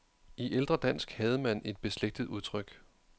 I ældre dansk havde man et beslægtet udtryk.